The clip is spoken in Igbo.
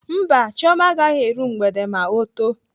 Mba, Chioma agaghị eru mgbede ma ọ too.